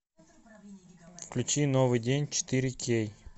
включи новый день четыре кей